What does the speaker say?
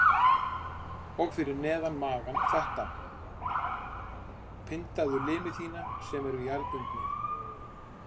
Og fyrir neðan magann þetta: Pyndaðu limi þína sem eru jarðbundnir.